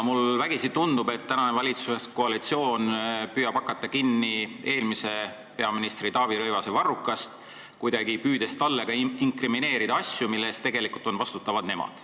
Mulle vägisi tundub, et tänane valitsuskoalitsioon püüab hakata kinni eelmise peaministri Taavi Rõivase varrukast, püüdes talle kuidagi inkrimineerida asju, mille eest tegelikult on vastutavad nemad.